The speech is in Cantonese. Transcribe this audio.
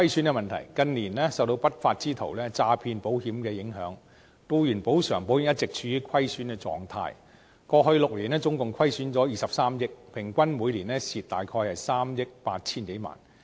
近年有不法之徒詐騙保險，以致僱員補償保險一直處於虧損的狀態，過去6年總共虧損了23億元，平均每年虧損約3億 8,000 多萬元。